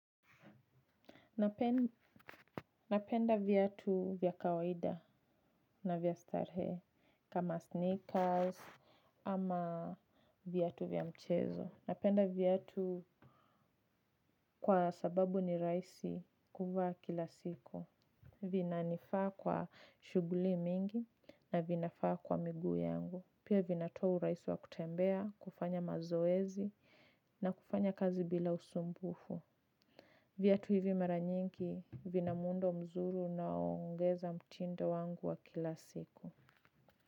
Napenda viatu vya kawaida na vya starehe kama sneakers ama viatu vya mchezo. Napenda viatu kwa sababu ni rahisi kuvaa kila siku. Vinanifaa kwa shughuli mingi na vinafaa kwa miguu yangu. Pia vinatoa urahisi wa kutembea, kufanya mazoezi na kufanya kazi bila usumbufu. Viatu hivi mara nyingi vina muundo mzuri unaongeza mtindo wangu wa kila siku.